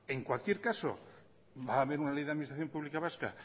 en cualquier caso va a haber una ley de administración pública vasca